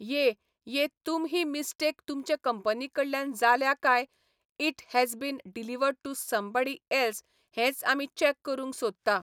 ये ये तुम ही मिस्टेक तुमचे कंपनी कडल्यान जाल्या कांय it has been delivered to somebody else हेच आमी चॅक करूंक सोदता.